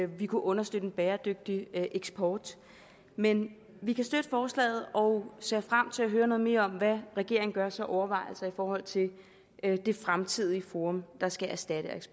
vi kunne understøtte en bæredygtig eksport men vi kan støtte forslaget og ser frem til at høre noget mere om hvad regeringen gør sig af overvejelser i forhold til det fremtidige forum der skal erstatte